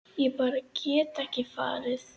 Ég bara get ekki farið